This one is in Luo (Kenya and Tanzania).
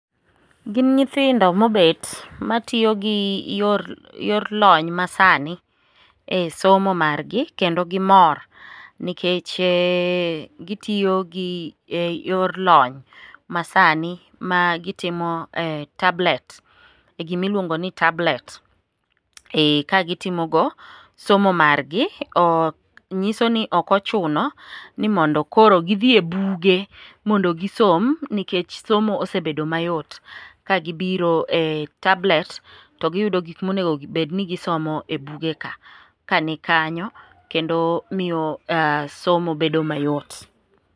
Gin nyithindo mobet matiyo gi yor lony masani e somo margi, kendo gimor nikech gitiyo gi yor lony masani ma gitimo e tablet ,e gimiluongoni tablet kagitimogo somo margi. Nyisoni ok ochuno ni mondo koro gidhi e buge mondo gisom nikech somo osebedo mayot, kagibiro e tablets to giyudo gik monego obed ni gisomo e bugeka ka nikanyo kendo miyo somo bedo mayot.